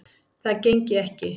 Það gengi ekki